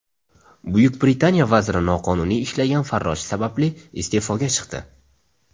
Buyuk Britaniya vaziri noqonuniy ishlagan farroshi sababli iste’foga chiqdi.